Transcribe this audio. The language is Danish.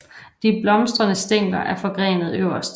De blomstrende stængler er forgrenede øverst